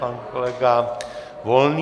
Pan kolega Volný.